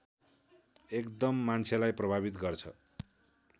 एकदम मान्छेलाई प्रभावित गर्छ